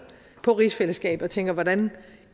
på rigsfællesskabet og tænker hvordan